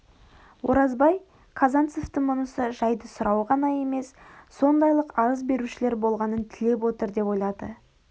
оразбай казанцевтің мұнысы жайды сұрау ғана емес сондайлық арыз берушілер болғанын тілеп отыр деп ойлады